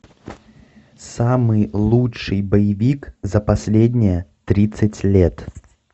самый лучший боевик за последние тридцать лет